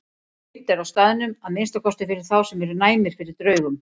Reimt er á staðnum, að minnsta kosti fyrir þá sem eru næmir fyrir draugum.